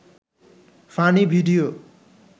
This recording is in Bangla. funny video